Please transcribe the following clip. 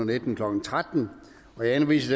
nitten klokken tretten jeg henviser